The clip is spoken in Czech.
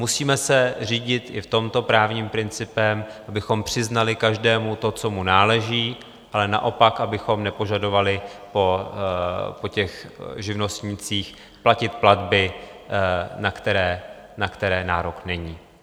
Musíme se řídit i v tomto právním principem, abychom přiznali každému to, co mu náleží, ale naopak abychom nepožadovali po těch živnostnících platit platby, na které nárok není.